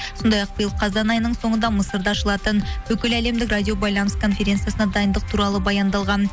сондай ақ биыл қазан айының соңында мысырда ашылатын бүкіл әлемдік радио байланыс конференциясына дайындық туралы баяндалған